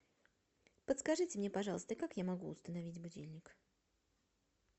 подскажите мне пожалуйста как я могу установить будильник